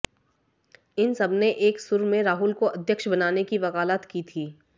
इन सबने एक सुर में राहुल को अध्यक्ष बनाने की वकालत की थी